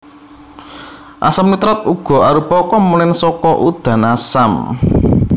Asam nitrat uga arupa komponen saka udan asam